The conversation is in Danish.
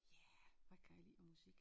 Ja hvad kan jeg lide af musik